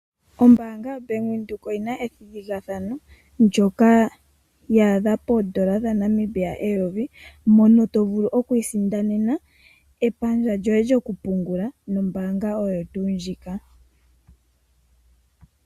Ombaanga yoBank Windhoek oyina ethigathano ndyoka lyi li poondola dhaNamibia eyovi mono tovulu okwiisindanena epandja lyoye lyokupungula nombaanga oyo tuu ndjika.